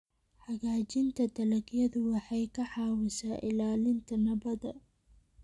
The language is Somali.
Hagaajinta dalagyadu waxay ka caawisaa ilaalinta nabadda.